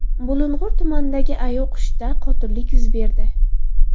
Bulung‘ur tumanidagi AYoQShda qotillik yuz berdi.